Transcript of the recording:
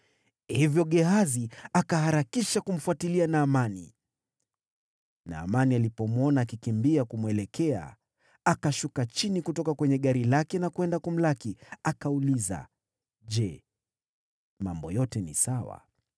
Hivyo Gehazi akaharakisha kumfuatilia Naamani. Naamani alipomwona akikimbia kumwelekea, akashuka chini kutoka kwenye gari lake na kwenda kumlaki. Akauliza, “Je, mambo yote ni sawa?”